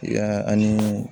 Ya ani